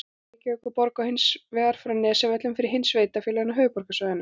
Reykjavíkurborg og hins vegar frá Nesjavöllum fyrir hin sveitarfélögin á höfuðborgarsvæðinu.